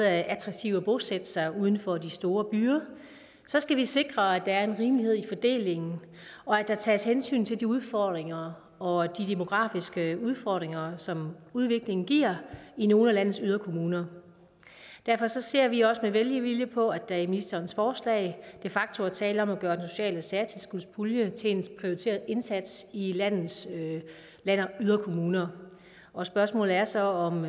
er attraktivt at bosætte sig uden for de store byer skal vi sikre at der er en rimelighed i fordelingen og at der tages hensyn til de udfordringer og de demografiske udfordringer som udviklingen giver i nogle af landets yderkommuner derfor ser vi også med velvilje på at der i ministerens forslag de facto er tale om at gøre den sociale særtilskudspulje til en prioriteret indsats i landets yderkommuner og spørgsmålet er så om